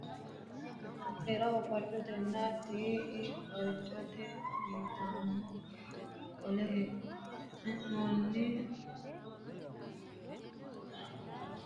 Seeraho farcotetenna tii'i farcote yitanno qaale e'nooni adawarsha ikkanna seerunna wodho mootimmate hundanni heerano egenshishsha mite uurrinshaho kone ayeeno afinoho.